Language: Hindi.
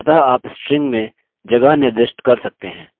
आप कहाँ तक इसे निर्दिष्ट कर सकते हैं